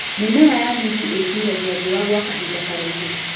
Mĩmera ya minji ĩtiragia riũa gwa kahinda karaihu.